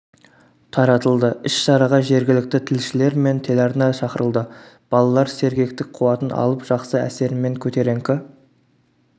таратылды іс-шараға жергілікті тілшілер мен телеарна шақырылды балалар сергектік қуатын алып жақсы әсер мен көтеріңкі